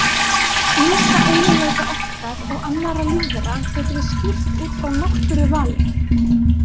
Ýmsa eiginleika okkar og annarra lífvera getum við skýrt út frá náttúruvali.